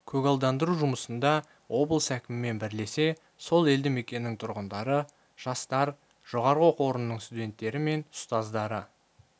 көгалдандыру жұмысында облыс әкімімен бірлесе сол елді мекеннің тұрғындары жастар жоғарғы оқу орнының студентері мен ұстаздары